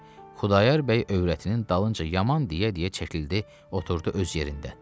Xudayar bəy övrətinin dalınca yaman deyə-deyə çəkildi oturdu öz yerində.